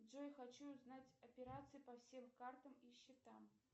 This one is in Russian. джой хочу узнать операции по всем картам и счетам